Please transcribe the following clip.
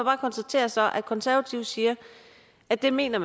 konstatere at konservative siger at det mener